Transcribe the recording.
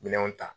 Minɛnw ta